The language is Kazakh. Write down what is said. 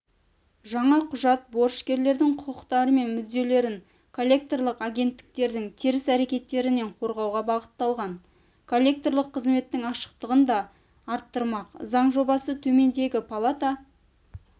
жаңа құжат борышкерлердің құқықтары мен мүдделерін коллекторлық агенттіктердің теріс әрекеттерінен қорғауға бағытталған коллекторлық қызметтің ашықтығын да арттырмақ заң жобасын төменгі палата